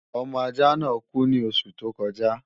Ọmọ ajạ́ náà kú ní oṣù tó kọjạ́